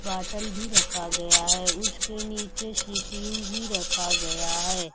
Bottle भी रखा गया है उसके नीचे सी_पी_यू भी रखा गया है।